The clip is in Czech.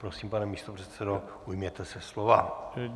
Prosím, pane místopředsedo, ujměte se slova.